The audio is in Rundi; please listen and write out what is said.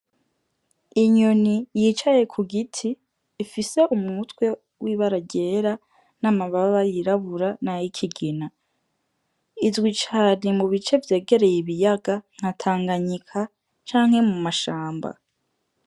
Inyoni yicaye ku giti ifise umutwe w'ibara ryera, n'amababa yirabura na y'ikigina, izwi cane mu bice vyegereye ibiyaga nka tanganyika canke mu mashamba.